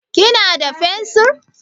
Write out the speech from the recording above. Kina da fensir?